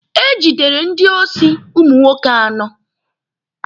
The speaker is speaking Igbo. E jidere ndị osi ụmụ nwoke anọ.